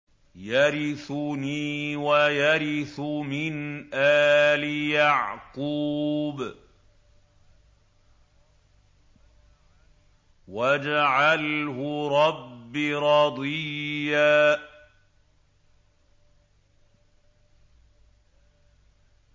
يَرِثُنِي وَيَرِثُ مِنْ آلِ يَعْقُوبَ ۖ وَاجْعَلْهُ رَبِّ رَضِيًّا